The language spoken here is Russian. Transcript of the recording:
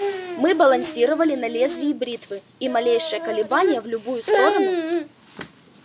мы балансировали на лезвии бритвы и малейшее колебание в любую сторону